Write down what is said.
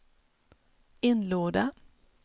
inlåda